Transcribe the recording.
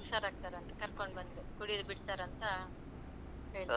ಹುಷಾರ್ ಆಗ್ತಾರೆ ಅಂತ ಕರ್ಕೊಂಡು ಬಂದು ಕುಡಿಯುದು ಬಿಡ್ತಾರಂತ ಹೇಳ್ತಾರೆ.